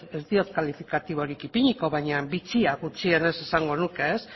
ez diot kalifikatiborik ipiniko baina bitxia gutxienez esango nuke